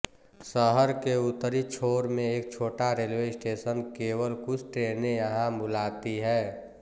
शहर के उत्तरी छोर में एक छोटा रेलवे स्टेशन केवल कुछ ट्रेनें यहां बुलाती हैं